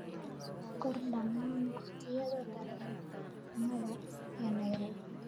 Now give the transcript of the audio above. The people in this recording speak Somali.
qor dhammaan waqtiyada tareenada ee nairobi